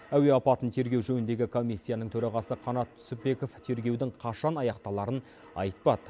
әуе апатын тергеу жөніндегі комиссияның төрағасы қанат түсіпбеков тергеудің қашан аяқталарын айтпады